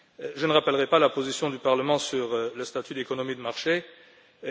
Je ne rappellerai pas la position du Parlement sur le statut d'économie de marché de la Chine.